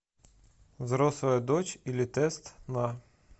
взрослая дочь или тест на